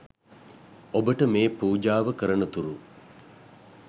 ඔබට මේ පූජාව කරනතුරු